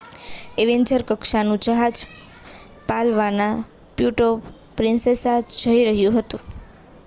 Avenger કક્ષાનું જહાજ પાલવાનના પ્યુર્ટો પ્રિન્સેસા જઈ રહ્યું હતું